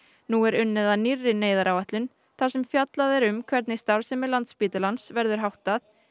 nú er unnið að nýrri neyðaráætlun þar sem fjallað er um hvernig starfsemi Landspítalans verður háttað